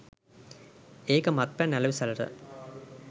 ඒක මත්පැන් අලෙවිසලට.